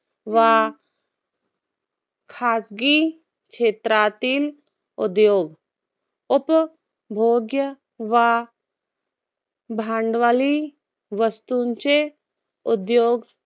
वा खाजगी क्षेत्रातील उद्योग. उपभोग्य वा भांडवली वस्तूंचे उद्योग